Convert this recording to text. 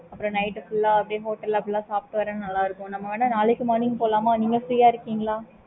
okay mam